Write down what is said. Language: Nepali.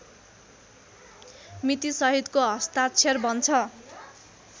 मितिसहितको हस्ताक्षर बन्छ